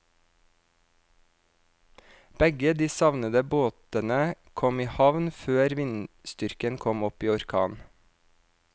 Begge de savnede båtene kom i havn før vindstyrken kom opp i orkan.